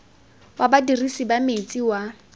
wa badirisi ba metsi wa